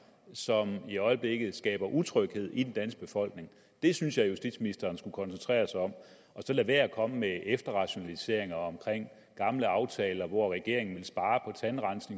som i øjeblikket skaber utryghed i den danske befolkning det synes jeg justitsministeren skulle koncentrere sig om og så lade være med at komme med efterrationaliseringer om gamle aftaler hvor regeringen ville spare